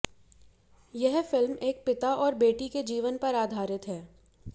यह फिल्म एक पिता और बेटी के जीवन पर आधारित है